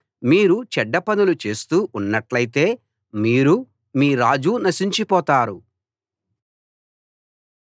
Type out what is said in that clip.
మీరు చెడ్డ పనులు చేస్తూ ఉన్నట్టయితే మీరూ మీ రాజూ నశించిపోతారు